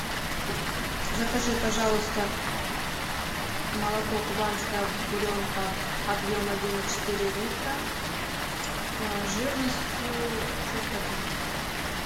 закажи пожалуйста молоко кубанская буренка объем один и четыре литра жирностью шесть процентов